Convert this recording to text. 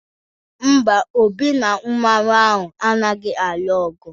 Mba, Obi na Mmanwu ahụ anaghị alụ ọgụ.